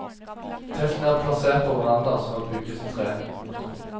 Teltene er plassert på verandaer som er bygget i tre. punktum